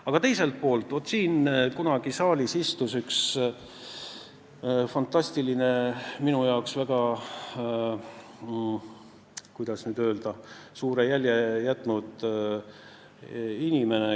Aga teiselt poolt: siin saalis istus kunagi üks fantastiline ja minusse, kuidas öelda, väga suure jälje jätnud inimene.